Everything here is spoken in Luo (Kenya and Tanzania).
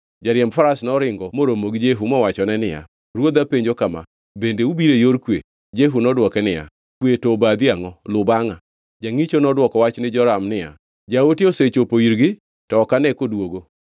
Jariemb faras noringo moromo gi Jehu mowachone niya, “Ruodha penjo kama: ‘Bende ubiro e yor kwe?’ ” Jehu nodwoke niya, “Kwe to obadhi angʼo? Luw bangʼa.” Jangʼicho nodwoko wach ni Joram ni, “Jaote osechopo irgi, to ok ane koduogo.”